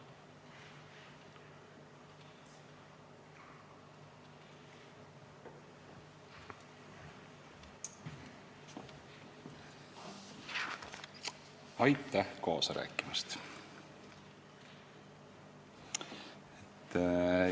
Aitäh kaasa rääkimast!